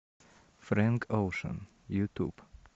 фрэнк оушен ютуб